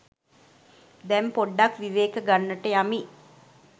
දැන් පොඩ්ඩක් විවේක ගන්නට යමි